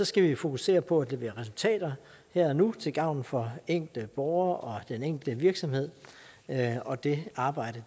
skal vi fokusere på at levere resultater her og nu til gavn for enkelte borger og den enkelte virksomhed og det arbejde